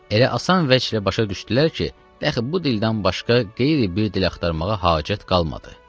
Elə asan vəçlə başa düşdülər ki, dəxi bu dildən başqa qeyri bir dil axtarmağa hacət qalmadı.